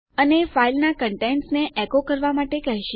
અને તે ફાઈલના કન્ટેન્ટસ ને એકો કરવા કહશે